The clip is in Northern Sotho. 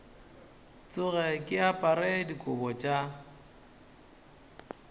tsoge ke apere dikobo tša